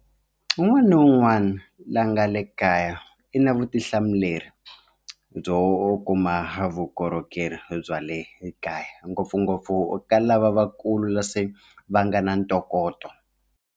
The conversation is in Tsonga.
Un'wana na un'wana la nga le kaya i na vutihlamuleri byo u kuma vukorhokeri bya le kaya ngopfungopfu ka lavakulu la se va nga na ntokoto